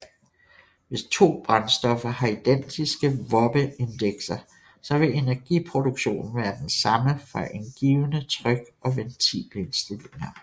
Hvis to brændstoffer har identiske Wobbe Indekser så vil energiproduktionen være den samme for en givne tryk og ventilindstilninger